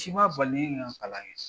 Si ma bali ne ye n ka kaian kɛ.